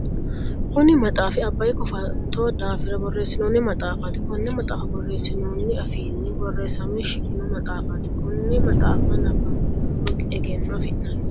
Kunni maxaafi abayi kofatto daafira boreesinonni maxaafaati konne maxaafa boreesinoonni afiinni boreesame shiqino maxaafate. Konne maxaafa nabanbiro lowo egenno afi'nanni.